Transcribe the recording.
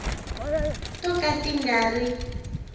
to ka ti nga ri